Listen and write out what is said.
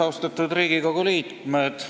Austatud Riigikogu liikmed!